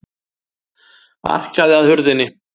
Arkaði að hurðinni.